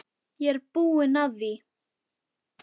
Ég er búinn að því!